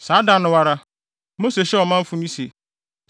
Saa da no ara, Mose hyɛɛ ɔmanfo no se: